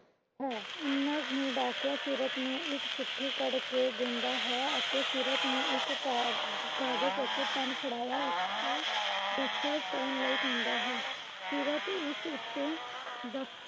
ਹੈ। ਇਨਾਂ ਨੂੰ ਡਾਕੀਆ ਸੀਰਤ ਨੂੰ ਇਕ ਚਿੱਠੀ ਕੱਢ ਕੇ ਦਿੰਦਾ ਹੈ ਅਤੇ ਸੀਰਤ ਨੂੰ ਇੱਕ ਕਾਗਜ਼ ਅਤੇ pen ਫੜਾਇਆ ਉਸਤੇ ਦਸਖ਼ਤ ਕਰਨ ਲਈ ਕਹਿੰਦਾ ਹੈ। ਸੀਰਤ ਉਸ ਉਤੇ ਦਸਖ਼ਤ